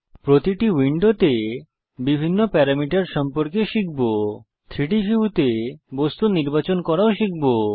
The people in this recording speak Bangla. প্রতিটি উইন্ডোতে বিভিন্নি প্যারামিটার সম্পর্কে শিখব 3ডি ভিউতে বস্তু নির্বাচন করাও শিখব